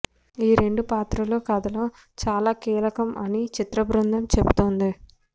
ఈ రెండు పాత్రలూ కథలో చాలా కీలకం అని చిత్రబృందం చెబుతోంది